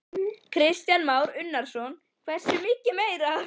Kristján Már Unnarsson: Hversu mikið meira?